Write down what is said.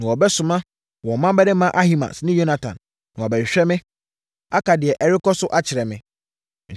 na wɔbɛsoma wɔn mmammarima Ahimaas ne Yonatan na wɔabɛhwehwɛ me, aka deɛ ɛrekɔ so akyerɛ me.”